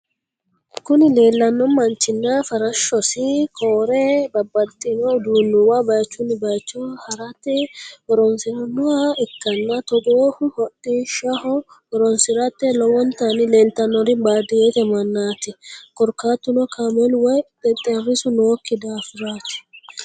Kuni lelano manchina farashshosi kore babatitino udunuwa bayichunni bayicho harate horonisirinoha ikana tugohu hodhishshaho horonisirate lowonitani lelitanori badiyete manat korikatuno kamelu woyi teterisu nooki dafirat.